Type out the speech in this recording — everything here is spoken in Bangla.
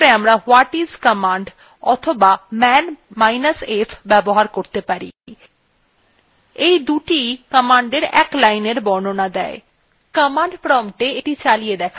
সেইক্ষেত্রে আমরা whatis command অথবা manf ব্যবহার করতে পারি দুটিwe command in linein বর্ণনা দেয়